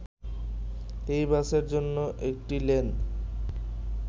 এই বাসের জন্য একটি লেন